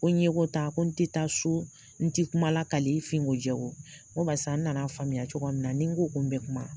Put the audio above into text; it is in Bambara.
Ko ɲeko tan ko n te taa soo, n ti kuma lakali n finko jɛko ko barisa n nan'a faamuya cogoya min na ni n ko ko n bɛ kuma